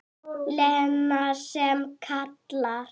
Lena sem kallar.